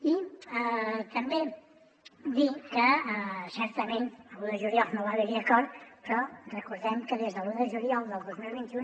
i també dir que certament l’un de juliol no va haverhi acord però recordem que des de l’un de juliol del dos mil vint u